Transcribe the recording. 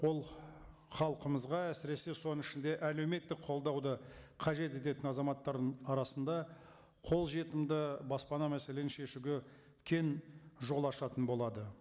ол халқымызға әсіресе соның ішінде әлеуметтік қолдауды қажет ететін азаматтардың арасында қолжетімді баспана мәселені шешуге кең жол ашатын болады